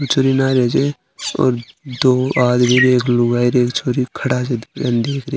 ने छे और दो आदमी ओर एक लुगाई एक छोरी खड़ीया छे --